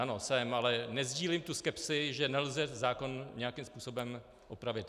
Ano, jsem, ale nesdílím tu skepsi, že nelze zákon nějakým způsobem opravit.